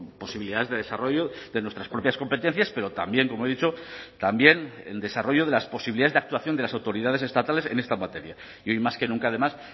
posibilidades de desarrollo de nuestras propias competencias pero también como he dicho también el desarrollo de las posibilidades de actuación de las autoridades estatales en esta materia y hoy más que nunca además